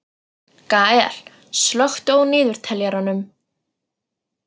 Gael, slökktu á niðurteljaranum.